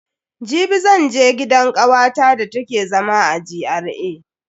Jibi zan je gidan kawata da take zama a GRA.